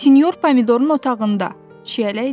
Sinyor pomidorun otağında, Çiyələk dedi.